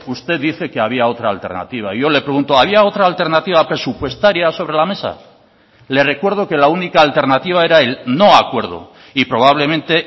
usted dice que había otra alternativa yo le pregunto había otra alternativa presupuestaria sobre la mesa le recuerdo que la única alternativa era el no acuerdo y probablemente